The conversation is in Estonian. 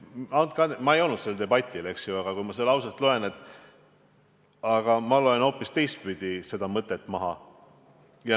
Andke andeks, ma ei olnud sellel debatil, aga kui ma seda lauset loen, siis ma loen siit hoopis teistpidi mõtte välja.